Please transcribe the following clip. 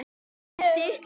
Þetta er þitt líf